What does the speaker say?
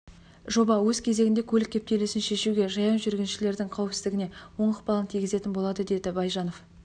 жоба өз кезегінде көлік кептелісін шешуге жаяу жүргіншілердің қауіпсіздігіне оң ықпалын тигізетін болады деді байжанов